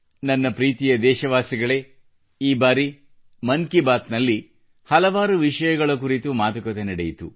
ನನ್ನ ಪ್ರೀತಿಯ ದೇಶವಾಸಿಗಳೇ ಈ ಬಾರಿ ಮನ್ ಕಿ ಬಾತ್ ನಲ್ಲಿ ಹಲವಾರು ವಿಷಯಗಳ ಕುರಿತು ಮಾತುಕತೆ ನಡೆಯಿತು